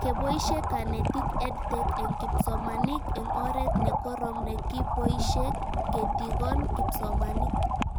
Poishe kanetik EdTech eng' kipsomanik eng' oret ne korom nekipoishe ketikon kipsomanik